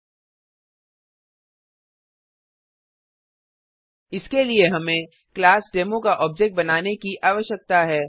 000928 000921 इसके लिए हमें क्लास डेमो का ऑब्जेक्ट बनाने की आवश्यकता है